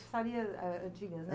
eh, antigas, né?